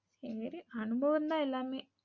சேரி அனுபவம் தான் எல்லாமே.